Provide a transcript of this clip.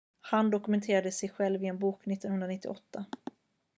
han dokumenterade sig själv i en bok 1998